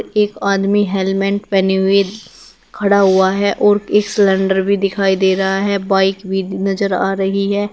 एक आदमी हेलमेट पहने हुए खड़ा हुआ है और एक सिलेंडर भी दिखाई दे रहा है बाइक भी नजर आ रही है।